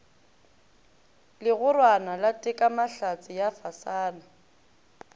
legorwana la tekamahlatse ya fasana